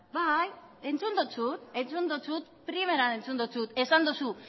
bai entzun dotzut entzun dotzut primeran entzun dotzut esan dozu